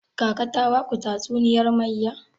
Kaka ta baku tatuniyar mayya?